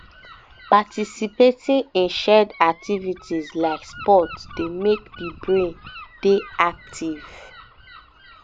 participating in shared activities like sports dey make di brain dey active